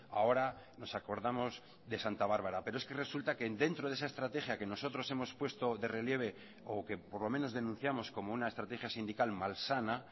ahora nos acordamos de santa bárbara pero es que resulta que dentro de esa estrategia que nosotros hemos puesto de relieve o que por lo menos denunciamos como una estrategia sindical mal sana